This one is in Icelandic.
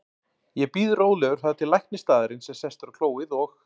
Ég bíð rólegur þar til læknir staðarins er sestur á klóið og